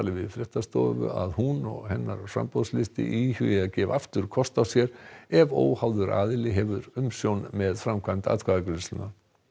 við fréttastofu að hún og hennar framboðslisti íhugi að gefa aftur kost á sér ef óháður aðili hefur umsjón með framkvæmd atkvæðagreiðslunnar